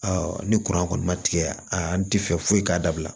ni kɔni ma tigɛ a an ti fɛ foyi k'a dabila